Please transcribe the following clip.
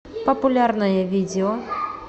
популярное видео